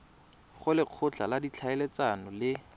go lekgotla la ditlhaeletsano le